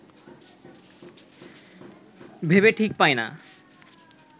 ভেবে ঠিক পায় না